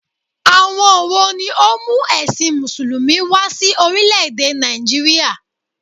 Àwon wo ni ó mú èsìn mùsùlùmí wa sí orílé èdè Nàìjíríà?